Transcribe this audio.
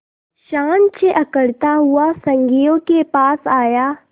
शान से अकड़ता हुआ संगियों के पास आया